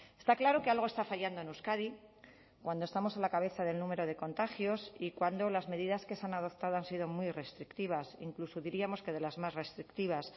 está claro que algo está fallando en euskadi cuando estamos a la cabeza del número de contagios y cuando las medidas que se han adoptado han sido muy restrictivas incluso diríamos que de las más restrictivas